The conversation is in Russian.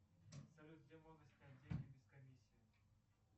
салют где можно снять деньги без комиссии